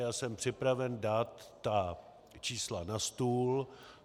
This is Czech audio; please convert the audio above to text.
Já jsem připraven dát ta čísla na stůl.